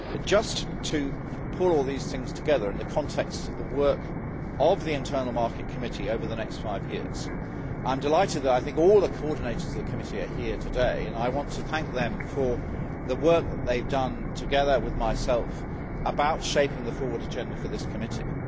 Just to pull all these things together in the context of the work of the Internal Market Committee over the next five years, I am delighted that, I think, all the coordinators of the committee are here today and I want to thank them for the work they have done, together with myself, on shaping the forward agenda for this committee.